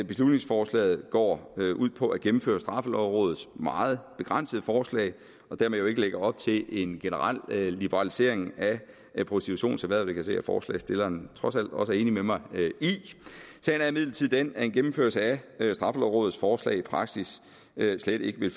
beslutningsforslaget går ud på at gennemføre straffelovrådets meget begrænsede forslag og dermed ikke lægger op til en generel liberalisering af prostitutionserhvervet se at forslagsstilleren trods alt også er enig med mig i den at en gennemførelse af straffelovrådets forslag i praksis slet ikke vil